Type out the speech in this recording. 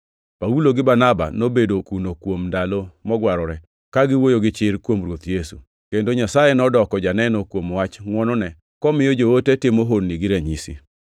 Paulo gi Barnaba nobedo kuno kuom ndalo mogwarore, ka giwuoyo gi chir kuom Ruoth Yesu, kendo Nyasaye nodoko janeno kuom wach ngʼwonone, komiyo joote timo honni gi ranyisi.